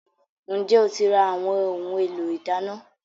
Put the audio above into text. Ǹjẹ́ o ti ra àwọn ohun-èlò ìdáná?